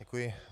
Děkuji.